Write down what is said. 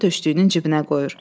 Açarı döşlüyünün cibinə qoyur.